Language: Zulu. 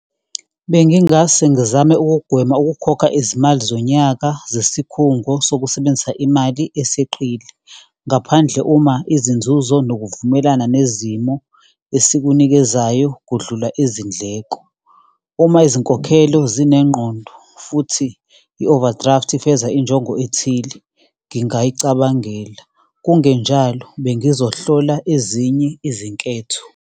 Bengingase ngizame ukugwema ukukhokha izimali zonyaka zesikhungo sokusebenzisa imali eseqile, ngaphandle uma izinzuzo nokuvumelana nezimo esikunikezayo kudlula izindleko. Uma izinkokhelo zinengqondo, futhi i-overdraft ifeza injongo ethile, ngingayicabangela, kungenjalo, bengizohlola ezinye izinketho.